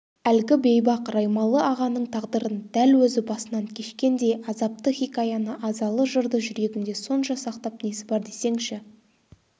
әлгі бейбақ раймалы-ағаның тағдырын дәл өзі басынан кешкендей азапты хикаяны азалы жырды жүрегінде сонша сақтап несі бар десеңші